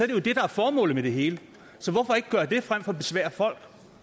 det jo det der er formålet med det hele så hvorfor ikke gøre det frem for at besvære folk